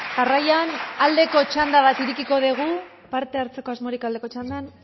jarraian aldeko txanda bat irekiko dugu parte hartzeko asmorik aldeko txandan